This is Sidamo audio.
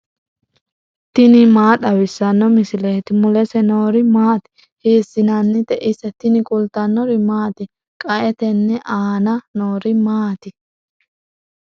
tini maa xawissanno misileeti ? mulese noori maati ? hiissinannite ise ? tini kultannori maati? qae tene aanna noori ma maatti?